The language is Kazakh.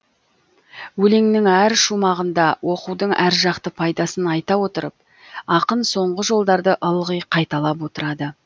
өлеңнің әр шумағында оқудың әр жақты пайдасын айта отырып ақын соңғы жолдарды ылғи қайталап отырады